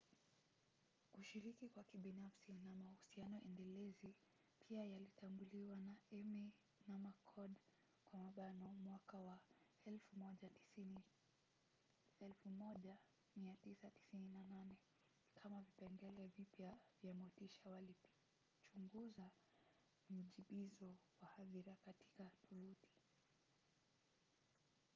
kushiriki kwa kibinafsi na mahusiano endelezi pia yalitambuliwa na eighmey na mccord 1998 kama vipengele vipya vya motisha walipichunguza mjibizo wa hadhira katika tovuti